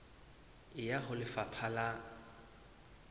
e ya ho lefapha la